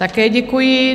Také děkuji.